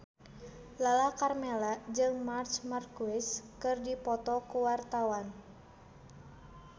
Lala Karmela jeung Marc Marquez keur dipoto ku wartawan